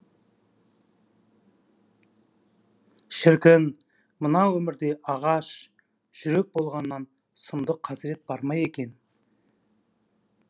шіркін мына өмірде ағаш жүрек болғаннан сұмдық қасірет бар ма екен